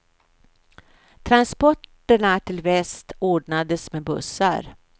Transporterna till väst ordnades med bussar.